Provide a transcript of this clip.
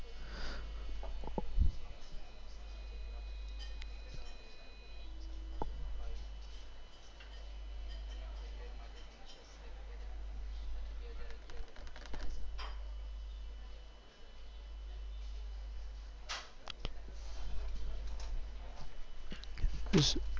અમ